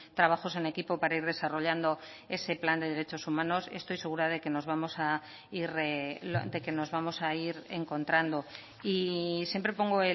trabajos en equipo para ir desarrollando ese plan de derechos humanos estoy segura de que nos vamos a ir encontrando y siempre pongo